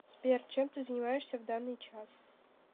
сбер чем ты занимаешься в данный час